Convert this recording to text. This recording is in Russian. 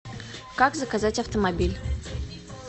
как заказать автомобиль